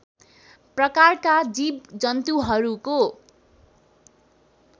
प्रकारका जीव जन्तुहरूको